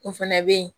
O fana bɛ ye